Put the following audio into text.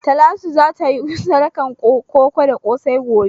Talatu za ta yi sadakan koko da ƙosai gobe.